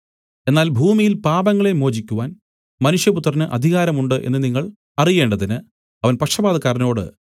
എന്നാൽ ഭൂമിയിൽ പാപങ്ങളെ മോചിക്കുവാൻ മനുഷ്യപുത്രന് അധികാരം ഉണ്ട് എന്നു നിങ്ങൾ അറിയേണ്ടതിന് അവൻ പക്ഷവാതക്കാരനോട്